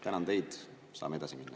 Tänan teid, saame edasi minna.